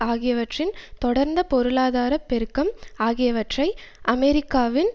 ஆகியவற்றின் தொடர்ந்த பொருளாதார பெருக்கம் ஆகியவை அமெரிக்காவின்